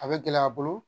A bɛ gɛlɛya a bolo